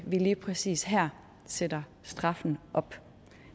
vi lige præcis her sætter straffen op